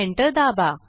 enter दाबा